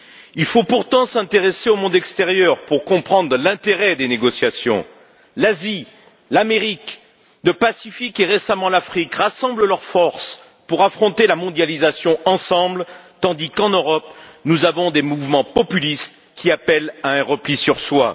Il faut pourtant s'intéresser au monde extérieur pour comprendre l'intérêt des négociations. L'Asie, l'Amérique, le Pacifique et, récemment, l'Afrique rassemblent leurs forces pour affronter la mondialisation ensemble, tandis qu'en Europe, nous avons des mouvements populistes qui appellent à un repli sur soi.